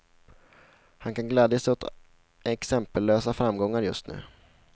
Han kan glädja sig åt exempellösa framgångar just nu.